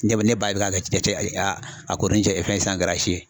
Ne bɛ ne ba bɛ k'a cɛ a ko ni cɛ fɛn kɛra si ye